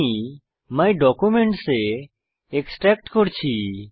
আমি my documents এ extract করছি